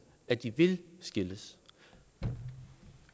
at de vil skilles